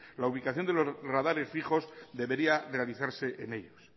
la ubicación de los radares fijos debería realizarse en ellos